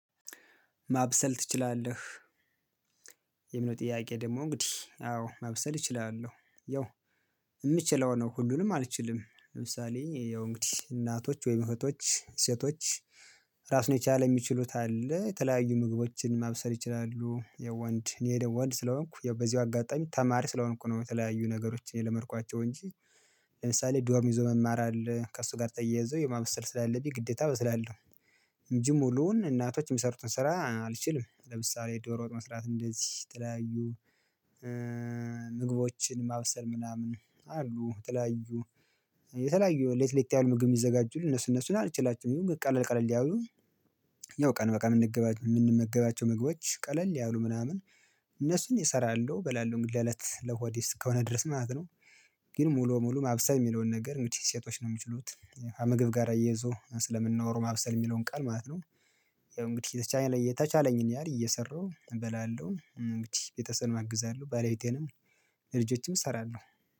ማብሰል ትችላለህ? የሚለው ጥያቄ ደግሞ እንግዲህ አዎ ማብሰል እችላለሁ ያው የምችለው ነው። ሁሉንም አልችልም ለምሳሌ ያው እንግዲህ እናቶች ወይም እህቶች ሴቶች ራሱን የቻለ የሚችሉት አለ። የተለያዩ ምግቦችን ማብሰል ይችላሉ የወንድ እኔ ደሞ ወንድ ስለሆንኩ በዚሁ አጋጣሚ ተማሪ ስለሆንኩ ነው። የተለያዩ ነገሮችን የለመድኳቸው እንጂ ለምሳሌ ዶርም ይዞ መማር አለ ከእሱ ጋር ጠይዞ የማበሰል ስላለብኝ ግዴታ እበስላለሁ። እንጂ ሙሉውን እናቶች የሚሰሩትን ስራ አልችልም። ለምሳሌ ዶሮ ወጥ መስራት እንደዚህ የተለያዩ ምግቦችን ማብሰል ምናምን አሉ ተለያዩ የተለያዩ ለየት ለየት ምግብ ሚዘጋጁትን እነሱ እነሱን አልችላቸውም። ይሄው ቀለል ቀለል ያውሉ ያው ቀን በቀን የምንገባ የምንመገባቸው ምግቦች ቀለል ያውሉ ምናምን እነሱን እሰራለሁ በላለሁ እንግዲህ አለት ለሆድ እስከሆነ ድረስ ማለት ነው። ግን ሙሉ ሙሉ ማብሰል የሚለውን ነገር እንግዲህ ሴቶች ነው የሚችሉት ከምግብ ጋር እያይዞ ስለምናወራው ማብሰል የሚለውን ቃል ማለት ነው። ያው እንግዲህ የቻይ የተቻለኝን ያህል እየሰራሁ እበላለሁ እንግዲህ ቤተሰብ አግዛለሁ ባለቤቴንም ለልጆችም እሰራለሁ።